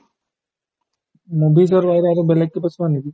movies ৰ বাহিৰে আৰু বেলেগ কিবা চোৱা নেকি ?